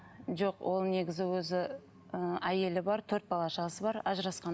жоқ ол негізі өзі ы әйелі бар төрт бала шағасы бар ажырасқан